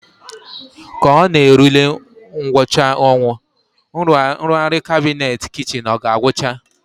Ka ọ na-erule ngwụcha ọnwa, nrụgharị kabinet kichin ọ ga-agwụcha?